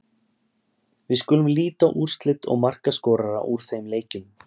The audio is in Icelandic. Við skulum líta á úrslit og markaskorara úr þeim leikjum.